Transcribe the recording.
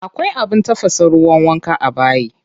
Akwai abin tafasa ruwan wanka a bayi.